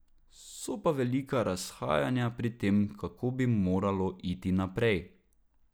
So pa velika razhajanja pri tem, kako bi moralo iti naprej.